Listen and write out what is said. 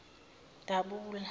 dabula